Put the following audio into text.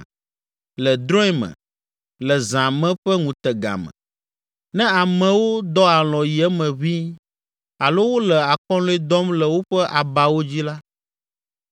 Le drɔ̃e me, le zã me ƒe ŋutega me, ne amewo dɔ alɔ̃ yi eme ʋĩi alo wole akɔlɔ̃e dɔm le woƒe abawo dzi la,